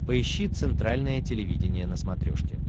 поищи центральное телевидение на смотрешке